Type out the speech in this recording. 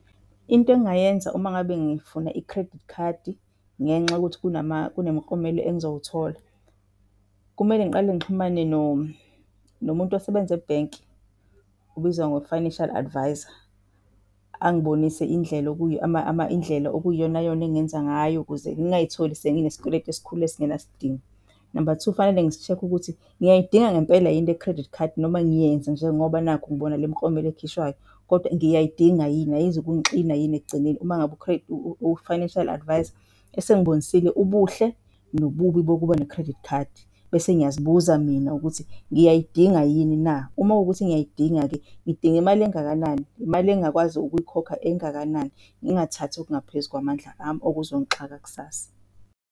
Into engingayenza uma ngabe ngifuna i-credit card ngenxa yokuthi kunemiklomelo engizowuthola, kumele ngiqale ngixhumane nomuntu osebenza ebhenki obizwa ngo-financial advisor, angibonise indlela okuyiyonayona engingenza ngayo ukuze ngingayitholi senginesikweletu esikhulu esingenasidingo. Namba two, fanele ngisi-check-e ukuthi ngiyayidinga ngempela yini le-credit card noma ngiyenza nje ngoba nakhu ngibona le miklomelo ekhishwayo, kodwa ngiyayidinga yini? Ayizukungixina yini ekugcineni uma ngabe u-financial advisor esengibonisile ubuhle nobubi bokuba ne-credit card, bese ngiyazibuza mina ukuthi ngiyayidinga yini na? Uma kuwukuthi ngiyayidinga-ke, ngidinga imali engakanani? Imali engingakwazi ukuyikhokha engakanani, ngingathathi okungaphezu kwamandla ami okuzongixaka kusasa.